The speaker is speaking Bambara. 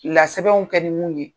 lasɛbɛnw kɛ ni mun ye.